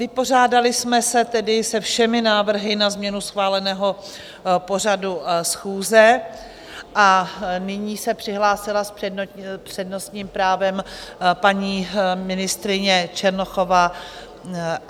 Vypořádali jsme se tedy se všemi návrhy na změnu schváleného pořadu schůze a nyní se přihlásila s přednostním právem paní ministryně Černochová.